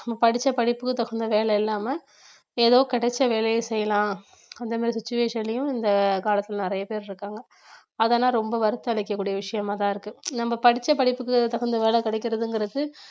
படிச்ச படிப்புக்கு தகுந்த வேலை இல்லாம ஏதோ கிடைச்ச வேலையை செய்யலாம் அந்த மாதிரி situation லயும் இந்த காலத்துல நிறைய பேர் இருக்காங்க அதெல்லாம் ரொம்ப வருத்தம் அளிக்கக்கூடிய விஷயமாதான் இருக்கு நம்ம படிச்ச படிப்புக்கு தகுந்த வேலை கிடைக்கிறதுங்கிறது